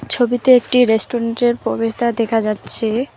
ছবিতে একটি রেস্টুরেন্ট -এর প্রবেশদ্বার দেখা যাচ্ছে।